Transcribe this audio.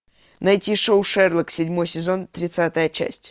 найти шоу шерлок седьмой сезон тридцатая часть